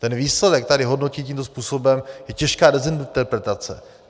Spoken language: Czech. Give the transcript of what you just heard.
Ten výsledek tady hodnotit tímto způsobem je těžká dezinterpretace.